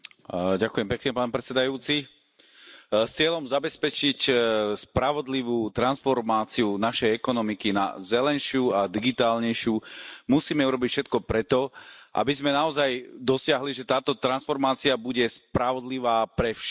Vážený pán predsedajúci, cieľom zabezpečiť spravodlivú transformáciu našej ekonomiky na zelenšiu a digitálnejšiu musíme urobiť všetko preto, aby sme naozaj dosiahli, že táto transformácia bude spravodlivá pre všetkých.